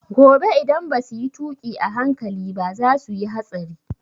Gobe idan basu yi tuƙi a hankali ba za su yi hatsari